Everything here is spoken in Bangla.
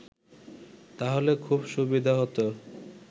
তাহলে খুব সুবিধা হত